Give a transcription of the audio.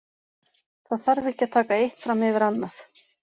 Það þarf ekki að taka eitt fram yfir annað.